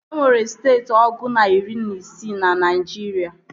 E nwere steeti ọgụ na iri na isii na Naịjirịa